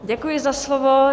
Děkuji za slovo.